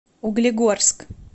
углегорск